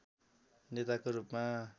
नेताको रूपमा